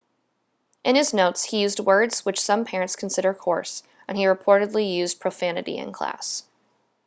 in his notes he used words which some parents considered coarse and he reportedly used profanity in class